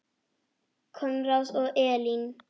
Konráð og Elín.